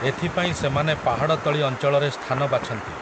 ଏଥିପାଇଁ ସେମାନେ ପାହାଡ଼ତଳି ଅଞ୍ଚଳରେ ସ୍ଥାନ ବାଛନ୍ତି ।